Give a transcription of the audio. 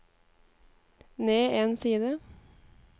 ned en side